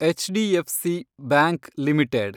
HDFC bank limited